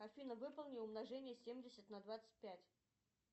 афина выполни умножение семьдесят на двадцать пять